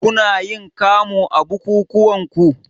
Kunayin kamu a bukukuwanku?